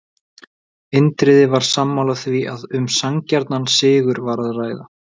Indriði var sammála því að um sanngjarnan sigur var að ræða.